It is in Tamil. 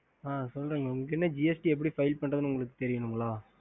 அ